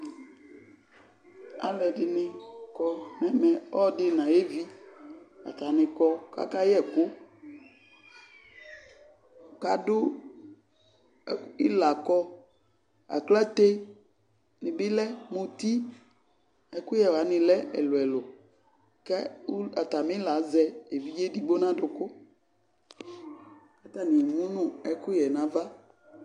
alʊɛdɩnɩ kɔ nʊ ɛmɛ ɔlʊɛdɩ nʊ ayevi atani kɔ kaka yɛ ɛkʊ kadʊ ɩlakɔ aklate nɩ bɩ lɛ muti ɛkʊyɛ wanɩ lɛ ɛlʊ ɛlʊ kʊ atamɩla azɛ evidze edigbo nʊ adʊkʊ kʊ atanɩ emunʊ ɛkʊyẽ nava